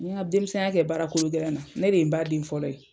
N ye nka denmisɛn ya kɛ baara kolo gɛlɛn na, ne de ye n ba den fɔlɔ ye.